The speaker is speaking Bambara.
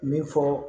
Min fɔ